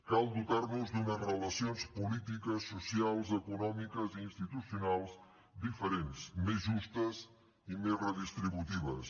cal dotar nos d’unes relacions polítiques socials econòmiques i institucionals diferents més justes i més redistributives